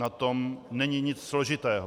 Na tom není nic složitého.